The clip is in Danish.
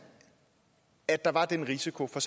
at der var den risiko har